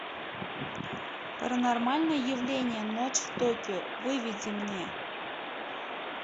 паранормальное явление ночь в токио выведи мне